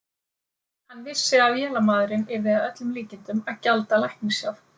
Hann vissi, að vélamaðurinn yrði að öllum líkindum að gjalda læknishjálp